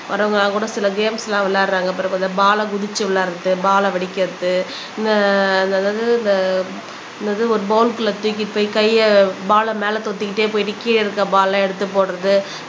வரவுங்களாம் கூட சில கேம்ஸ் எல்லாம் விளையாடுறாங்க பாருங்க அந்த பால்ல குதிச்சு விளையாடுறது பால்ல வெடிக்கிறது அஹ் இந்த அந்த என்னது ஒரு பௌல்க்குள்ள தூக்கிட்டு போய் கையை பால்ல மேல தொத்திக்கிட்டே போயிட்டு கீழே இருக்கிற பால்ல எடுத்து போடுறது.